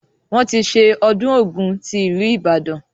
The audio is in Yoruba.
Wọn tí ṣe ọdún Ògún tí ìlú Ìbàdàn.